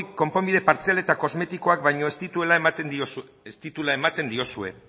konponbide partzial eta kosmetikoak baino ez dituela ematen diozue